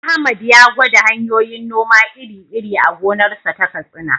Ahmad ya gwada hanyoyin noma iri-iri a gonarsa ta Katsina.